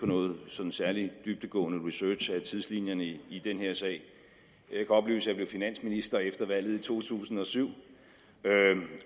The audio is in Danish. nogen sådan særlig dybdegående research af tidslinjerne i i den her sag jeg kan oplyse at jeg blev finansminister efter valget i to tusind og syv